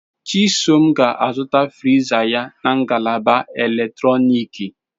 Chisom ga-azụta friza ya na ngalaba eletrọnịkị.